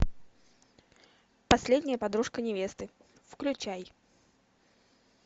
последняя подружка невесты включай